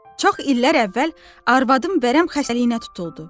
Çox illər əvvəl arvadım vərəm xəstəliyinə tutuldu.